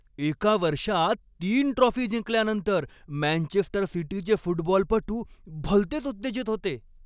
एका वर्षात तीन ट्रॉफी जिंकल्यानंतर मँचेस्टर सिटीचे फुटबॉलपटू भलतेच उत्तेजित होते.